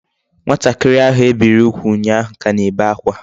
Nwatakiri ahu ebiri ugwu unyahu ka na-ebe akwa